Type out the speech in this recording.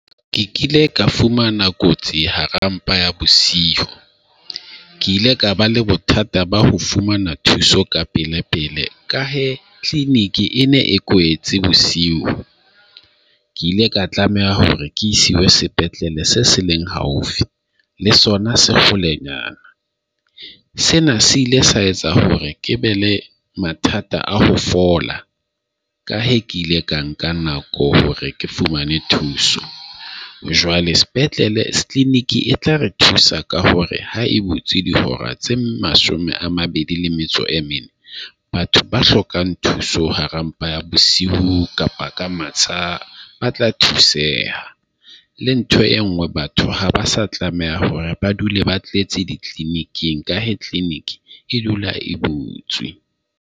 Ke kile ka fumana kotsi hara mpa ya bosiu, ke ile ka ba le bothata ba ho fumana thuso ka pele pele ka hee clinic e ne e kwetse bosiu. Ke ile ka tlameha hore ke isiwe sepetlele se seleng haufi le sona se holenyana, sena se ile sa etsa hore ke be le mathata a ho fola ka he ke ile a nka nako hore ke fumane thuso. Jwale sepetlele se tla re thusa ka hore ha e butse dihora tse mashome a mabedi le metso e mene batho ba hlokang thuso hara mpa ya bosiu kapa ka masa ba tla thuseha le ntho e nngwe batho ha ba sa tlameha hore ba dule ba tletse di-clinic-ng ka he clinic e dula e butswe.